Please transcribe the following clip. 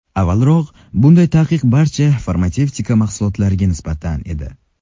Avvalroq bunday taqiq barcha farmatsevtika mahsulotlariga nisbatan edi.